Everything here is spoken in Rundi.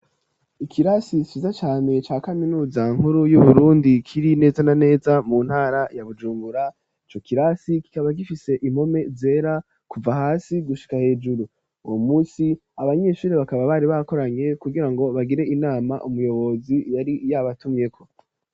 Ikirasi ciza cane ca kaminuza nkuru y'uburundi kiri neza na neza mu ntara ya Bujumbura ico kirasi kikaba gifise impome zera kuva hasi gushika hejuru uwo munsi abanyeshure bakaba bari bakoranye kugira ngo bagire inama umuyobozi yari yaba tumyeko.